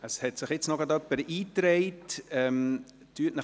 Es hat sich jetzt grad noch jemand eingetragen.